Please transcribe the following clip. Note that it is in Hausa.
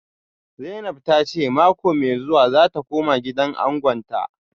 Zainab ta ce mako mai zuwa za ta koma gidan angonta